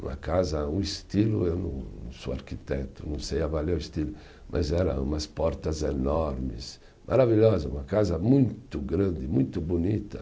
Uma casa, um estilo, eu não não sou arquiteto, não sei avaliar o estilo, mas era umas portas enormes, maravilhosa, uma casa muito grande, muito bonita.